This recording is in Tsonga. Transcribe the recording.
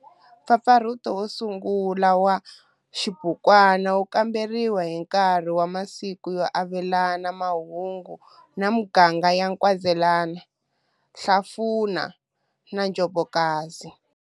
Mpfapfarhuto wo sungula wa xibukwana wu kamberiwe hi nkarhi wa masiku yo avelana mahungu na miganga ya Nkwezela, Hlafuna na Njobokazi.